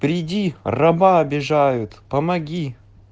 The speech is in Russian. приди раба обижают помоги